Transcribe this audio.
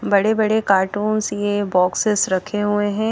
बड़े बड़े कार्टूंस ये बॉक्सेस रखें हुए हैं।